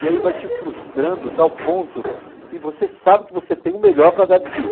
E aí vai te frustrando a tal ponto que você sabe que você tem o melhor para dar de si.